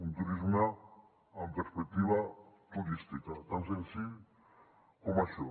un turisme amb perspectiva turística tan senzill com això